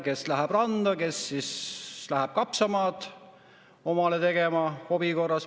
Kes läheb randa, kes läheb omale hobi korras kapsamaad tegema.